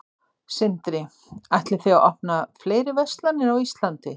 Sindri: Ætlið þið að opna fleiri verslanir á Íslandi?